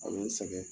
A bɛ n sɛgɛn